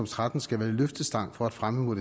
tretten skal være løftestang for at fremme